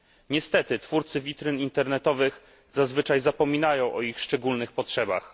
Niestety, twórcy witryn internetowych zazwyczaj zapominają o ich szczególnych potrzebach.